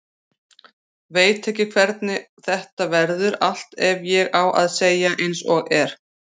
Veit ekki hvernig þetta verður allt ef ég á að segja eins og er.